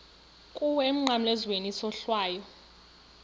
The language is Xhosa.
kuwe emnqamlezweni isohlwayo